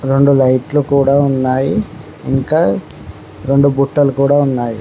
రొండు లైట్లు కూడా ఉన్నాయి ఇంకా రొండు బుట్టలు కూడా ఉన్నాయి.